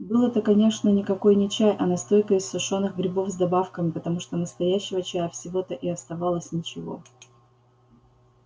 был это конечно никакой не чай а настойка из сушёных грибов с добавками потому что настоящего чая всего-то и оставалось ничего